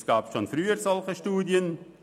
Es gab schon früher solche Studien;